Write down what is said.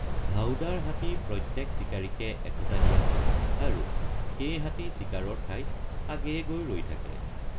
হাউদাৰ হাতী প্ৰত্যেক চিকাৰীকে একোটা দিয়া হয় আৰু সেই হাতী চিকাৰৰ ঠাইত আগেয়ে গৈ ৰৈ থাকে।